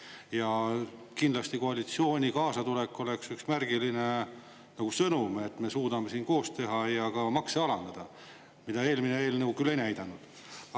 Ja kindlasti koalitsiooni kaasatulek oleks üks märgiline sõnum, et me suudame siin koos teha ja ka makse alandada, mida eelmine eelnõu küll ei näidanud.